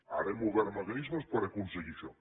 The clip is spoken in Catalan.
ara hem obert mecanismes per aconseguir això